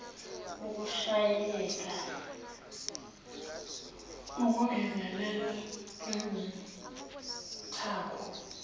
ukushayeka ukungezelela ngezithako